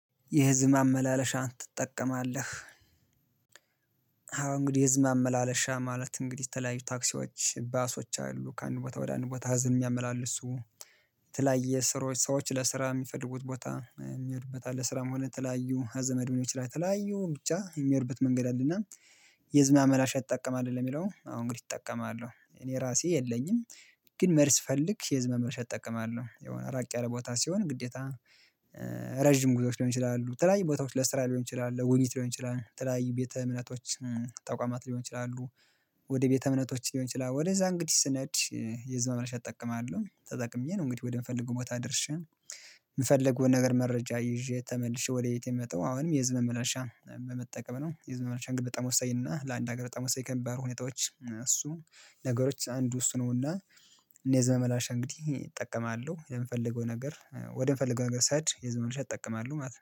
የህዝብ መመላለሻን ትጠቀማለህ? አሁን እንግዲህ የህዝብ መመላለሻ ማለት እንግዲህ የተለያዩ ታክሲዎች ባሶች አሉ ከአንድ ቦታ ወደ አንድ ቦታ ህዝብን የሚያመላልሱ የተለያየ ስሮች ሰዎች ለስራ የሚፈልጉት ቦታ የሚሄዱበት አለ ስራም ሆነ የተላያዩ ከዘመድም ልሆን ይችላል የተለያዩ ብቻ የምሄዱበት መንገድ አለና። የህዝብ ማመላለሽ ትጠቀማለህ ለሚለው አዎ እንግዲህ እጠቀማለሁ እኔ የራሴ የለኝም። ግን መሄስ ስፈልግ የህዝብ ማመላለሽ እጠቀማለሁ የሆነ ራቅ ያለ ቦታ ሲሆን ግዴታ። ረጅም ጉዞዎች ሊሆን ይችላሉ የተለያዩ ቦታዎች ለስራ ሊሆን ይችላል ለጉብኝት ሊሆን ይችላል የተለያይ ቤተ እምነቶች ተቋማት ሊሆን ይችላሉ። ወደ ቤተ እምነቶች ሊሆን ይችላል ወደዚያ እንግዲህ ስንሄድ የህዝብ ማመላለሽ እጠቀማለሁ ተጠቅሜ ነው እንግዲህ ወደምፈልገው ቦታ ደርሼ የምፈልገውን ነገር መረጃ ይዤ ተመልሼ ወደ ቤቴ ምመጣው አሁንም የህዝብ መመላሻ በመጠቀም ነው። የህዝብ መመላለሻ እንግዲህ በጣም ወሳኝ እና ለአንድ ሀገር በጣም ወሳኝ ከሚባሉ ሁኔታዎች እሱ ነገሮች አንዱ እሱ ነውና። እኔ የህዝብ ማመላለሻ እንግዲህ እጠቀማለሁ የምፈልገው ነገር ወደምፈልገው ሀገር ስሄድ የህዝብ ማመላለሻ እጠቀማለሁ ማለት ነው